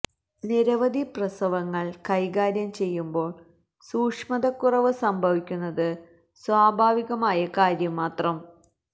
നിരവധി പ്രസവങ്ങൾ കൈകാര്യം ചെയ്യുന്പോൾ സൂക്ഷ്മതക്കുറവ് സംഭവിക്കുന്നത് സ്വാഭാവികമായ കാര്യം മാത്രം